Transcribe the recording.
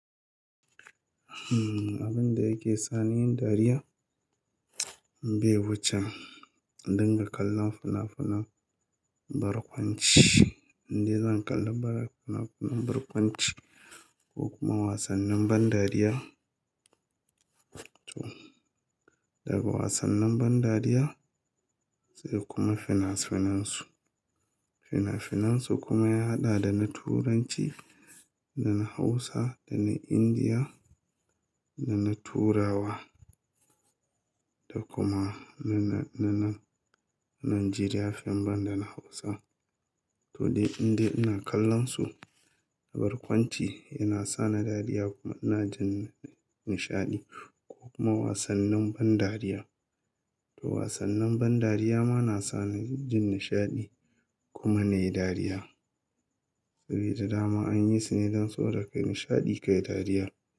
Abin da yake sa ni yin dariya, bai wuce in dinga kallon fina-finan barkwanci. In dai zan kalla fina-finan barkwanci ko kuma wasannin ban dariya. Daga wasannin ban dariya sai kuma fina-finansu. Fina-finansu kuma ya haɗa da na Turanci, na Hausa da na Indiya da na Turawa, da kuma na nan Najeriya fim banda na Hausa. To dai indai ina kallonsu, barkwanci yana sa ni dariya kuma ina jin nishaɗi ko kuma wasannin ban dariya. To wasannin ban dariya ma na sa ni jin nishaɗi kuma na yi dariya. Saboda dama an yi su ne don soboda ka yi nishaɗi ka yi dariya.